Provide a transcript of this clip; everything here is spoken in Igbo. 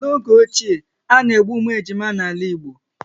N'oge ochie, a na-egbu ụmụ ejima n'ala Igbo